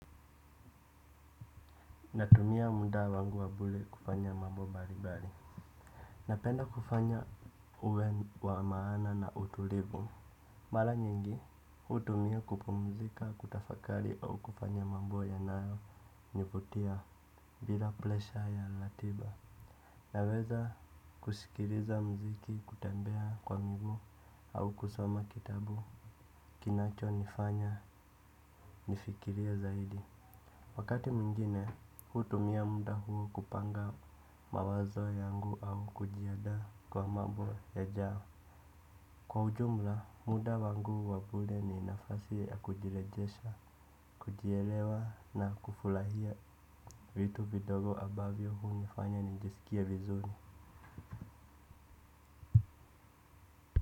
Natumia muda wangu wa bure kufanya mambo mbalimbali. Napenda kufanya uwe wa maana na utulivu. Mala nyingi, utumia kupumzika kutafakari au kufanya mambo yanao niputia bila plesha ya latiba. Naweza kushikiriza mziki kutembea kwa miguu au kusoma kitabu kinacho nifanya nifikiria zaidi. Wakati mwingine, hutumia mda huo kupanga mawazo yangu au kujiadaa kwa mambo yajao. Kwa ujumla, muda wangu wabure ni nafasi ya kujilejesha, kujielewa na kufulahia. Vitu vidogo abavio hunifanya nijisikie vizuni.